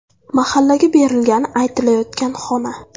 Mahallaga berilgani aytilayotgan xona.